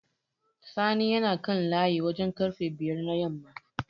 Sani yana kan layi wajen ƙarfe bayar na yamma.